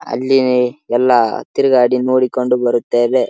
ಅಲ್ಲಿ ಎಲ್ಲಾ ತಿರಗಾಡಿ ನೋಡಿಕೊಂಡು ಬರುತ್ತೇವೆ.